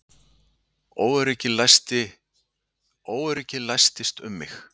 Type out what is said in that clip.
Óöryggið læstist um mig.